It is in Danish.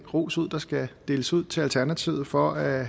den ros ud der skal deles ud til alternativet for at